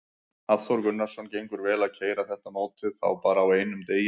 Hafþór Gunnarsson: Gengur vel að keyra þetta mótið þá bara á einum degi?